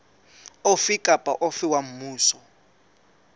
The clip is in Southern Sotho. ofe kapa ofe wa mmuso